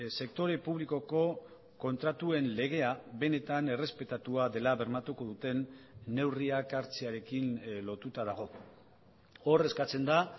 sektore publikoko kontratuen legea benetan errespetatua dela bermatuko duten neurriak hartzearekin lotuta dago hor eskatzen da